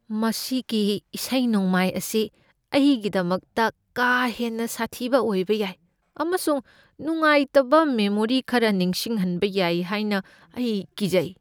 ꯃꯁꯤꯒꯤ ꯏꯁꯩ ꯅꯣꯡꯃꯥꯏ ꯑꯁꯤ ꯑꯩꯒꯤꯗꯃꯛꯇ ꯀꯥ ꯍꯦꯟꯅ ꯁꯥꯊꯤꯕ ꯑꯣꯏꯕ ꯌꯥꯏ ꯑꯃꯁꯨꯡ ꯅꯨꯡꯉꯥꯏꯇꯕ ꯃꯦꯃꯣꯔꯤ ꯈꯔ ꯅꯤꯡꯁꯤꯡꯍꯟꯕ ꯌꯥꯏ ꯍꯥꯏꯅ ꯑꯩ ꯀꯤꯖꯩ꯫